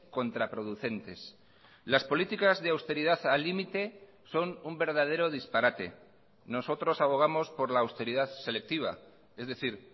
contraproducentes las políticas de austeridad al límite son un verdadero disparate nosotros abogamos por la austeridad selectiva es decir